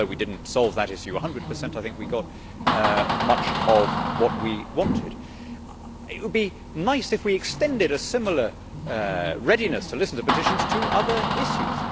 Although we did not solve that issue a hundred percent, I think we got much of what we wanted. It would be nice if we extended a similar readiness to listen to petitions to other issues.